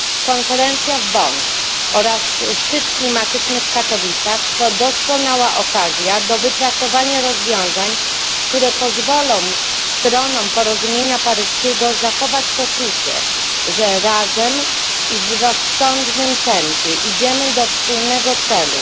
Konferencja w Bonn oraz szczyt klimatyczny w Katowicach to doskonała okazja do wypracowania rozwiązań, które pozwolą stronom porozumienia paryskiego zachować poczucie, że razem i w rozsądnym tempie idziemy do wspólnego celu.